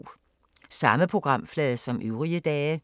Samme programflade som øvrige dage